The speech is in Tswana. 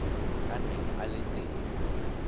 a neng a le teng